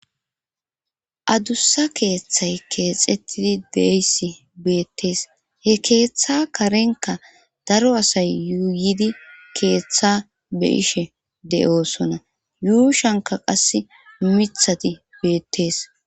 Adussa keeththay keexettidi deeysi beettees he keeththa karenka daro asay yuuyidi keeththa be ishe de'osona yuushanka qass mithati beettees.